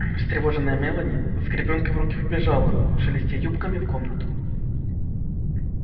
встревоженная мелани с гребенкой в руке вбежала шелестя юбками в комнату